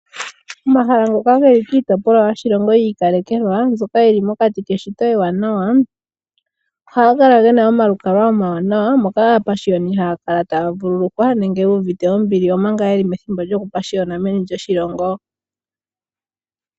Omahala ngoka geli mokati koshilongo yi ikalekelwa mbyoka yili mokati keshito ewanawa ohaga kala gena omalukalwa omawanawa. Moka aapashiyoni ha ya kala taya vululukwa nenge yu uvite ombili omanga yeli meni lyoshilongo.